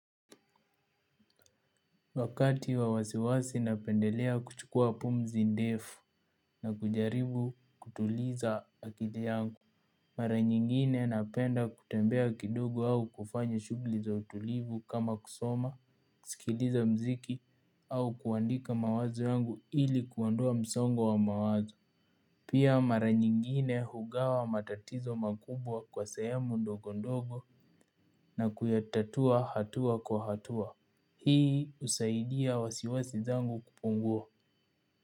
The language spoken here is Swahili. Wakati wa wasiwasi napendelea kuchukua pumzi ndefu na kujaribu kutuliza akili yangu. Mara nyingine napenda kutembea kidogo au kufanya shughuli za utulivu kama kusoma, kusikiliza muziki au kuandika mawazo yangu ili kuondoa msongo wa mawazo. Pia mara nyingine hugawa matatizo makubwa kwa sehemu ndogo ndogo na kuyatatua hatua kwa hatua. Hii husaidia wasiwasi zangu kupungua.